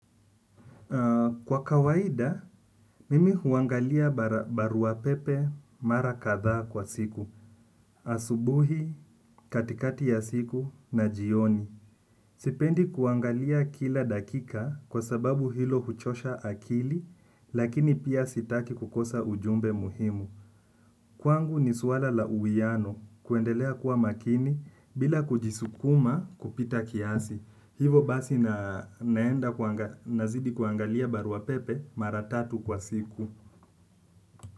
Kwa kawaida, mimi huangalia baruapepe mara kadhaa kwa siku. Asubuhi, katikati ya siku, na jioni. Sipendi kuangalia kila dakika kwa sababu hilo huchosha akili, lakini pia sitaki kukosa ujumbe muhimu. Kwangu ni suala la uwiano kuendelea kuwa makini bila kujisukuma kupita kiasi. Hivo basi naenda nazidi kuangalia baruapepe mara tatu kwa siku.